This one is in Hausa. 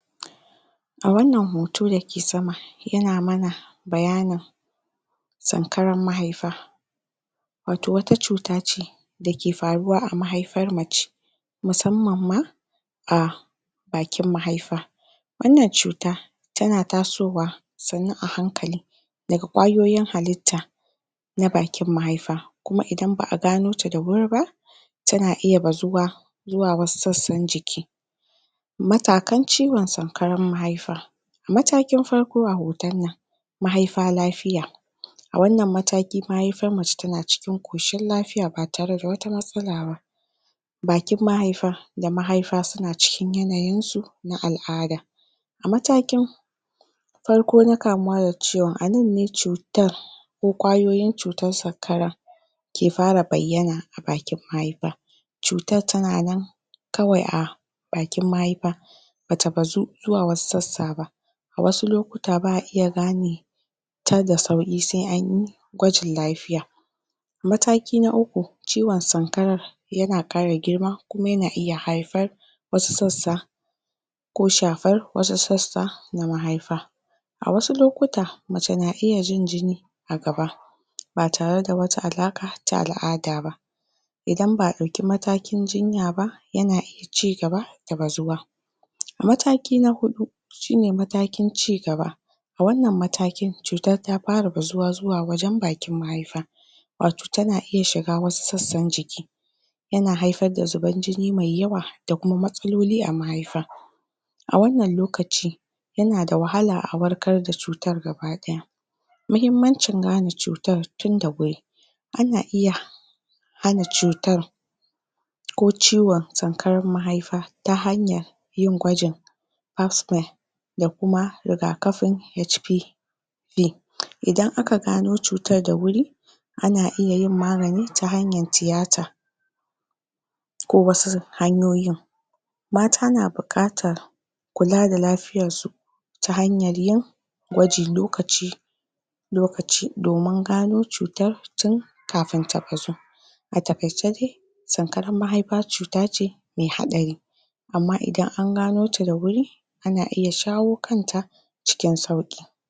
a wannan hoto dake sama yana mana bayanin sankaran mahaifa wato wata cuta ce dake faruwa a mahaifar mace musammanma a bakin mahaifa wannan cuta tana tasowa sannu a hankali daga kwayoyin halitta na bakin mahaifa kuma idan ba a gano ta da wuri ba tana iya bazuwa zuwa wasu sassan jiki matakan ciwan sankaran mahaifa matakin farko a wannan hoto mahaifa lafiya a wannan mataki mahaifar mace tana cikin koshin lafiya ba tare da wata matsala ba bakin mahaifa da mahaifa suna cikin yanayinsu na al'ada a matakin farko na kamuwa da ciwan anan ne cutar ko kwayoyin cutar sankara ke fara bayyana a bakin mahaifa cutar tana nan kawai a bakin mahaifa bata bazo zuwa wasu sassaba a wasu lokuta ba a iya gane ta da sauƙi sai anyi gwajin lafiya mataki na uku ciwan sankarar yana ƙara girma kuma yana iya haifar wasu sassa ko shafar wasu sassa na mahaifa a wasu lokuta mace na iya jin jini a gaba ba tare da wata alaqa ta al'ada ba idan ba'a dauki matakin jinya ba yana iya cigaba da bazu wa mataki na hudu shine matakin cigaba a wannan matakin cutar ta fara bazuwa wajan bakin mahaifa wato tana iya shiga wasu sassan jiki yana haifar da zubar jini me yawa da kuma matsaloli a mahaifa a wannan lokaci yana da wahala a warkar da cutar gaba daya muhimmamcin gane cutar tunda wuri ana iya hana cutar ko ciwan sankarar mahaifa ta hanyar yin gwajin osmer da kuma riga kafin HP idan aka gano cutar da wuri ana iyayin magani ta hanyar tiyata ko wasu hanyoyin mata na bukatar kula da lafiyarsu ta hanyar yin gwaji lokaci lokaci domin gano cutar tun kafin ta bazu a takaice dai sankarar mahaifa cutace mai haɗari amma idan angano ta da wuri ana iya shawo kanta cikin sauki